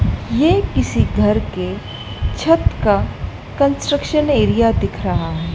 ये किसी घर के छत का कंस्ट्रक्शन एरिया दिख रहा है।